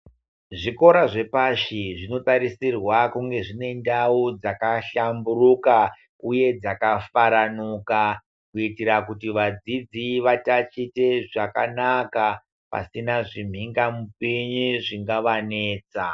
Zvikora zvepashi zvinotarisirwa kunge zvine ndau dzakahlamburuka uye dzakafaranuka kuitira kuti vadzidzi vatatiche zvakanaka pasina zvimhingamupinyi zvingavanetsa.